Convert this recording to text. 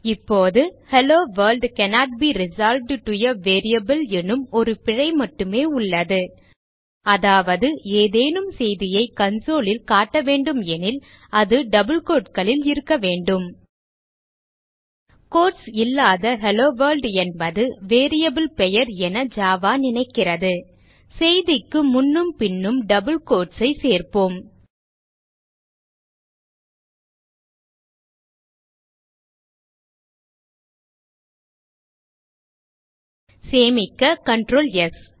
இப்போது hello world cannot be resolved to a variable எனும் ஒரு பிழை மட்டுமே உள்ளது அதாவது ஏதேனும் செய்தியை console ல் காட்டவேண்டும் எனில் அது டபிள் quoteகளில் இருக்க வேண்டும் கோட்ஸ் இல்லாத ஹெல்லோவொர்ல்ட் என்பது வேரியபிள் பெயர் என ஜாவா நினைக்கிறது செய்திக்கு முன்னும் பின்னும் டபிள் quotes ஐ சேர்ப்போம் சேமிக்க Ctrl ஸ்